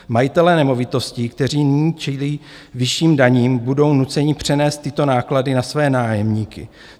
Majitelé nemovitostí, kteří nyní čelí vyšším daním, budou nuceni přenést tyto náklady na své nájemníky.